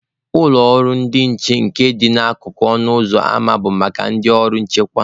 Ụlọ ndị nche nke na-adị n'akụkụ ọnụ ụzọ ama bụ maka ndị ọrụ nchekwa.